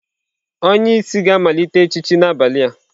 Onye isi ga-amalite echichi n'abalị a.